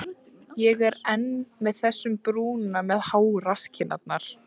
Ég er enn með þessum brúna með háu rasskinnarnar.